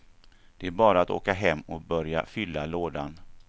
Det var bara att åka hem och börja fylla lådan.